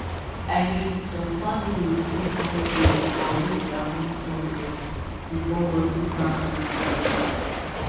i mean some families fit want pray or do their own custom before hospital procedures